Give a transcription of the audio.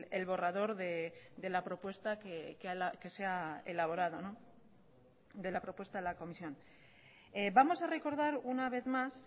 el borrador de la propuesta que se ha elaborado de la propuesta de la comisión vamos a recordar una vez más